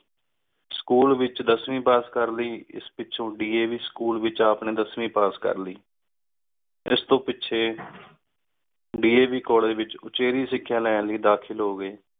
school ਏਚ ਦਸਵੀਂ ਪਾਸ ਕਰ ਲੈ ਏਸ ਪਿਚੁ DAV ਸਕੂਲ ਵਿਚ ਆਪ ਨੀ ਦਸਵੀਂ ਪਾਸ ਕਰ ਲੈ ਏਸ ਤੋ ਪੀਚੀ DAV ਕੋਲ੍ਲੇਗੇ ਏਚ ਉਚੇਵੀ ਸਿਖਯ ਲੈਣ ਲੈ ਦਾਖਿਲ ਹੋ ਗਏ